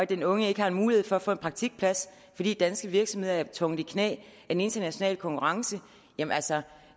den unge ikke har mulighed for få en praktikplads fordi danske virksomheder er tvunget i knæ af den internationale konkurrence jamen altså